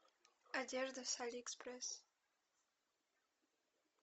одежда с алиэкспресс